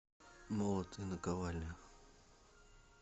молот и наковальня